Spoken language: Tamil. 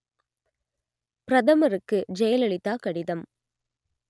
பிரதமருக்கு ஜெயலலிதா கடிதம்